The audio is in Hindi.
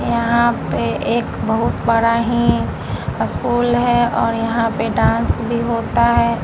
यहाँ पे एक बहुत बड़ा ही स्कूल है और यहाँ पे डांस भी होता है।